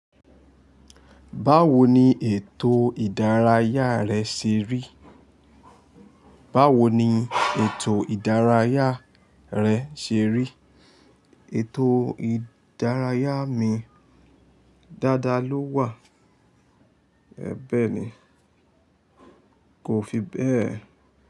Báwo ni ètò ìdárayá rẹ ṣe rí? Báwo ni ètò ìdárayá rẹ ṣe rí? Ètò ìdárayá mi dáadáa ló wà. Ẹ̀bẹ̀ ni, kò fi bẹ́ẹ̀